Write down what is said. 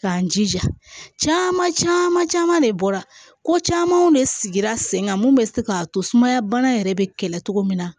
K'an jija caman caman de bɔra ko camanw de sigira sen kan mun bɛ se k'a to sumaya bana yɛrɛ bɛ kɛlɛ cogo min na